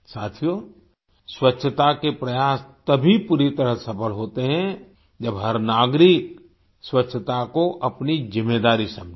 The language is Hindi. साथियो स्वच्छता के प्रयास तभी पूरी तरह सफल होते हैं जब हर नागरिक स्वच्छता को अपनी जिम्मेदारी समझे